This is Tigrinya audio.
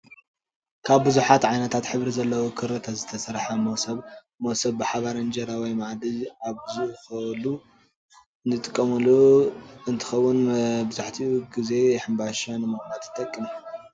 ካብ ብዙሓት ዓይነታት ሕብሪ ዘለዎም ክሪታት ዝተሰረሐ መሰብ ሞሰብ ብሓባር እንጀራ ወይ ማኣዲ ኣብዝኮሉ እንጥቀመሉ እንትከውን መብዛሕቲኡ ግና ሕባሻ ንምቅማጥ ይጠቅም።